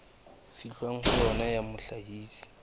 fihlwang ho yona ya mohlahisi